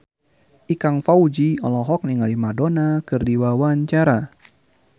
Ikang Fawzi olohok ningali Madonna keur diwawancara